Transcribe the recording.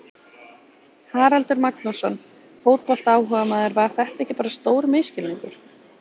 Haraldur Magnússon, fótboltaáhugamaður Var þetta ekki bara stór misskilningur?